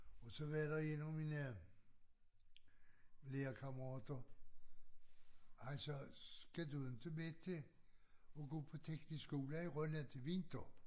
Og så var der en af mine lærekammerater han sagde skal du inte tilbage til at gå på teknisk skole i Rønne til vinter?